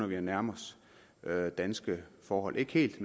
vi at nærme os danske forhold ikke helt